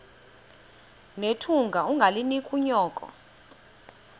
nethunga ungalinik unyoko